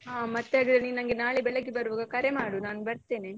ಹಾ ಮತ್ತೆ ಅದೇ ನೀನ್ ನನ್ಗೆ ನಾಳೆ ಬೆಳಗ್ಗೆ ಬರುವಾಗ ಕರೆ ಮಾಡು ನಾನು ಬರ್ತೇನೆ.